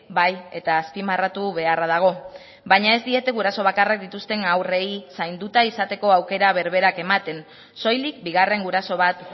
bai eta azpimarratu beharra dago baina ez diete guraso bakarrak dituzten haurrei zainduta izateko aukera berberak ematen soilik bigarren guraso bat